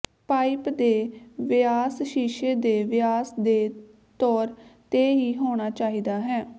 pipe ਦੇ ਵਿਆਸ ਸ਼ੀਸ਼ੇ ਦੇ ਵਿਆਸ ਦੇ ਤੌਰ ਤੇ ਹੀ ਹੋਣਾ ਚਾਹੀਦਾ ਹੈ